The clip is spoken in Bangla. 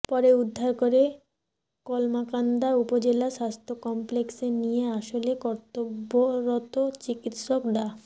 পরে উদ্ধার করে কলমাকান্দা উপজেলা স্বাস্থ্য কমপ্লেক্সে নিয়ে আসলে কর্তব্যরত চিকিৎসক ডা